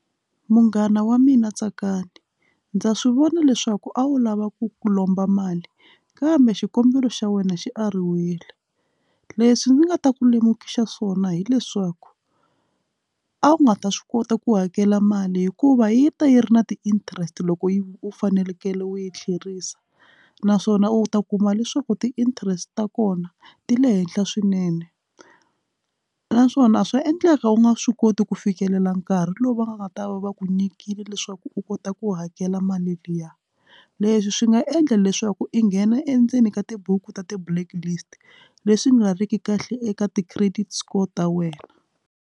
Munghana wa mina Tsakani ndza swivona leswaku a wu lava ku ku lomba mali kambe xikombelo xa wena xi ariwile leswi ndzi nga ta ku lemukisa swona hileswaku a wu nga ta swi kota ku hakela mali hikuva yi ta yi ri na ti-interest loko yi u fanekele u yi tlherisa naswona u ta kuma leswaku ti-interest ta kona ti le henhla swinene a naswona swa endleka u nga swi koti ku fikelela nkarhi lowu va nga ta va va ku nyikile leswaku u kota ku hakela mali liya leswi swi nga endla leswaku i nghena endzeni ka tibuku ta ti-blacklist leswi nga ri ki kahle eka ti-credit score ta wena.